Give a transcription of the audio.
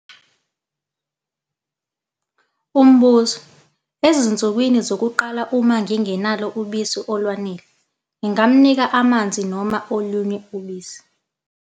Umbuzo- Ezinsukwini zokuqala, uma ngingenalo ubisi olwanele, ngingamnika amanzi noma olunye ubisi?